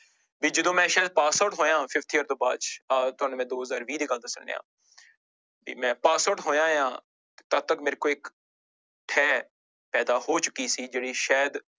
ਵੀ ਜਦੋਂ ਮੈਂ ਸ਼ਾਇਦ pass out ਹੋਇਆਂ fifth year ਤੋਂ ਬਾਅਦ ਚ ਆਹ ਤੁਹਾਨੂੰ ਮੈਂ ਦੋ ਹਜ਼ਾਰ ਵੀਹ ਦੀ ਗੱਲ ਦੱਸਣ ਡਿਆਂ ਵੀ ਮੈਂ pass out ਹੋਇਆਂ ਹਾਂ ਤਦ ਤੱਕ ਮੇਰੇ ਕੋਲ ਇੱਕ ਥੈਹ ਪੈਦਾ ਹੋ ਚੁੱਕੀ ਸੀ ਜਿਹੜੀ ਸ਼ਾਇਦ